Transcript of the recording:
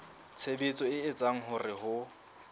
tshebetso e etsang hore ho